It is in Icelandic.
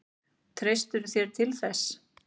Treystirðu þér til þess?